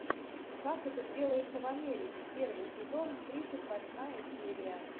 как это делается в америке первый сезон тридцать восьмая серия